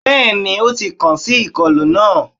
bẹẹni, o ti kan si ikolu naa